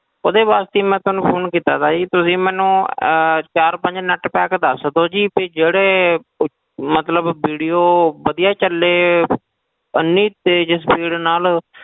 ਉਹਦੇ ਵਾਸਤੇ ਹੀ ਮੈਂ ਤੁਹਾਨੂੰ phone ਕੀਤਾ ਸੀ ਜੀ ਤੁਸੀਂ ਮੈਨੂੰ ਅਹ ਚਾਰ ਪੰਜ net pack ਦੱਸ ਦਓ ਜੀ ਵੀ ਜਿਹੜੇ ਮਤਲਬ video ਵਧੀਆ ਚੱਲੇ ਇੰਨੀ ਤੇਜ਼ speed ਨਾਲ